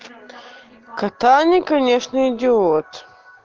катани конечно идиот